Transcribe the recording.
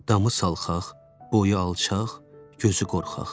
Damı salxaq, boyu alçaq, gözü qorxaq.